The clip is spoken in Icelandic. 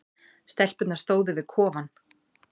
Stelpurnar stóðu við kofann.